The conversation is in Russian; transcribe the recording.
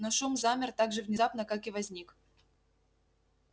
но шум замер так же внезапно как и возник